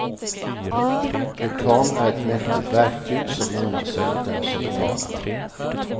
Reklam är ett mäktigt verktyg, som lånar sig åt den som betalar.